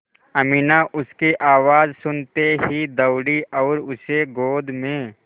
अमीना उसकी आवाज़ सुनते ही दौड़ी और उसे गोद में